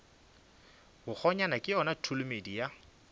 bakgonyana ke yona tholomedi ya